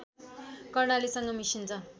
कर्णालीसँग मिसिन्छ